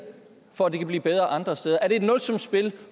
for at det kan blive bedre andre steder er det et nulsumsspil